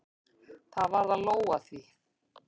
Það varð að lóga því.